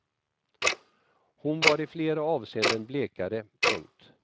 Hon var i flera avseenden blekare. punkt